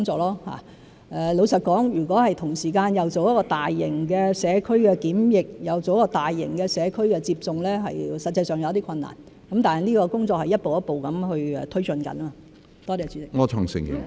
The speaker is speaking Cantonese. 老實說，如果同時間做大型的社區檢測，又進行大型的社區接種，實際上有些困難，但這個工作是在一步一步推進中。